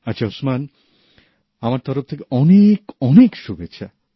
আচ্ছা ওসমান আমার তরফ থেকে অনেক শুভেচ্ছা